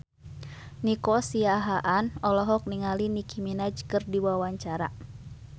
Nico Siahaan olohok ningali Nicky Minaj keur diwawancara